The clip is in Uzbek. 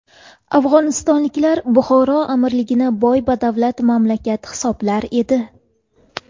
Afg‘onistonliklar Buxoro amirligini boy-badavlat mamlakat hisoblar edi.